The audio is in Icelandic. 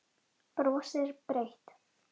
Brosir breitt.